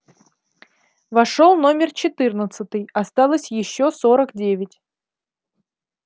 вошёл номер четырнадцатый осталось ещё сорок девять